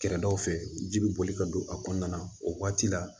Kɛrɛdaw fɛ ji bɛ boli ka don a kɔnɔna na o waati la